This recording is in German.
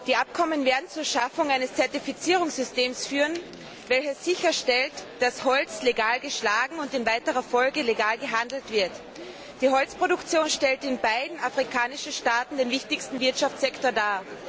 Die Abkommen werden zur Schaffung eines Zertifizierungssystems führen, das sicherstellt, dass Holz legal geschlagen und in weiterer Folge legal gehandelt wird. Die Holzproduktion stellt in beiden afrikanischen Staaten den wichtigsten Wirtschaftssektor dar.